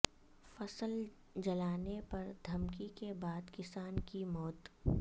فصل جلانے پر دھمکی کے بعد کسان کی موت